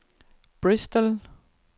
Bristol